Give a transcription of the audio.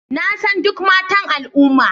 Na san duk matan al'umma